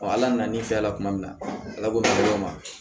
ala nana n'i fɛla kuma min na ala b'o min fɔ ma